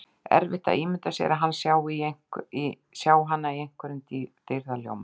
Erfitt að ímynda sér að hann sjái hana í einhverjum dýrðarljóma.